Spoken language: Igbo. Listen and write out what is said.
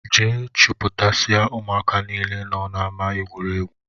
Jee chuputasia ụmụaka niile nọ n'ama egwuregwu!!!